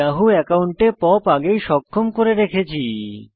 Yahoo একাউন্টে POP আগেই সক্ষম করে রেখেছি